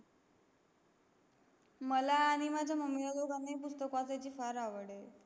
मला आणि माझ्या MUMMY ला दोघनही पुस्तक वाचायची फार आवड आहे